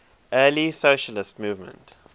early socialist movement